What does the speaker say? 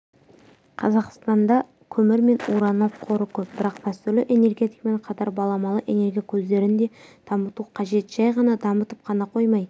қазақстанда көмір мен уранның қоры көп бірақ дәстүрлі энергетикамен қатар баламалы энергия көздерін де дамыту қажет жай ғана дамытып қана қоймай